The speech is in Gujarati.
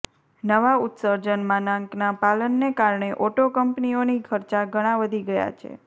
નવા ઉત્સર્જન માનાંકના પાલનને કારણે ઓટો કંપનીઓની ખર્ચા ઘણા વધી ગયા છે